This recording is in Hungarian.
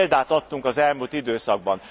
Erre példát adtunk az elmúlt időszakban.